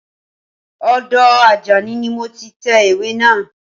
Ọdọ Àjàní ni mo ti tẹ ìwé naa